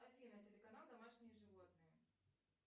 афина телеканал домашние животные